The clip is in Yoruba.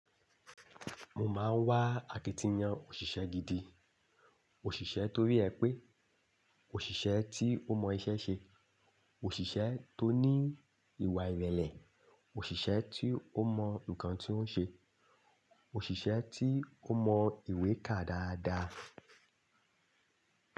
Mo máa ń wá akitiyan òṣìṣẹ́ gidi. Òṣìṣẹ́ torí ẹ pé òṣìṣẹ́ tí ó mọ iṣẹ́ ṣe, òṣìṣẹ́ tó ní ìwà ìrẹ̀lẹ̀, òṣìṣẹ́ tí ó mọ nǹkan tí ó ń ṣe, òṣìṣẹ́ tí ó mọ ìwé ká dáadáa.